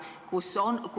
Aitäh!